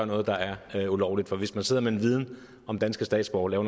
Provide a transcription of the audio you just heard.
noget der er ulovligt for hvis man sidder med en viden om danske statsborgere